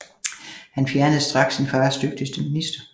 Han fjernede straks sin fars dygtigste minister